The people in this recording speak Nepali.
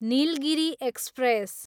निलगिरि एक्सप्रेस